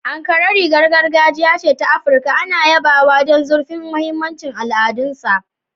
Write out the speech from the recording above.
Ankara, rigar gargajiya ta Afirka, ana yabawa don zurfin mahimmancin al'adunsa.